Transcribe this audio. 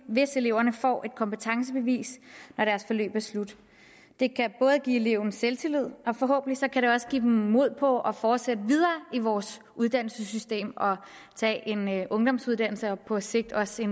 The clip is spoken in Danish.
hvis eleverne får et kompetencebevis når deres forløb er slut det kan både give eleven selvtillid og forhåbentlig kan det også give dem mod på at fortsætte videre i vores uddannelsessystem og tage en ungdomsuddannelse og på sigt også